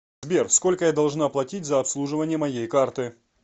сбер сколько я должна платить за обслуживание моей карты